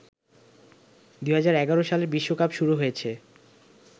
২০১১ সালের বিশ্বকাপ শুরু হয়েছে